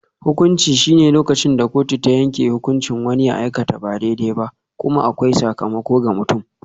Hukunci shine lokacin da kotu ta yanke hukuncin wani ya aikata ba daidai ba, kuma akwai sakamako ga mutumin.